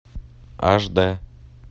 аш дэ